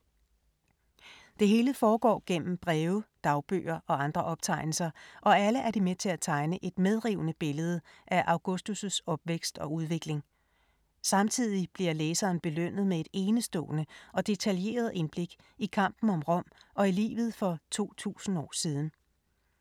Det hele foregår gennem breve, dagbøger og andre optegnelser og alle er de med til at tegne et medrivende billede af Augustus’ opvækst og udvikling. Samtidig bliver læseren belønnet med et enestående og detaljeret indblik i kampen om Rom og i livet for 2000 år siden.